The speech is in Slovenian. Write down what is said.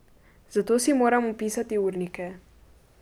Zato si moramo pisati urnike.